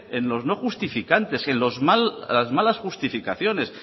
en los no justificantes las malas justificaciones